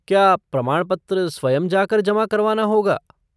क्या प्रमाणपत्र स्वयं जाकर जमा करवाना होगा?